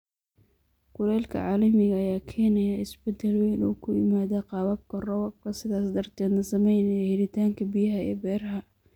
Kulaylka caalamiga ah ayaa keenaya isbeddel weyn oo ku yimaadda qaababka roobabka, sidaas darteedna saameynaya helitaanka biyaha ee beeraha.